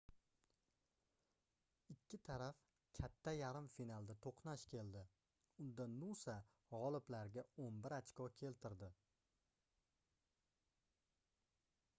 ikki taraf katta yarim finalda toʻqnash keldi unda nusa gʻoliblarga 11 ochko keltirdi